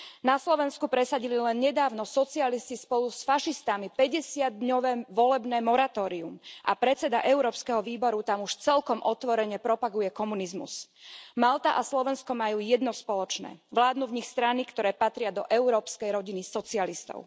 Na Slovensku presadili len nedávno socialisti spolu s fašistami 50 dňové volebné moratórium a predseda Európskeho výboru tam už celkom otvorene propaguje komunizmus. Malta a Slovensku majú jedno spoločné vládnu v nich strany, ktoré patria do európskej rodiny socialistov.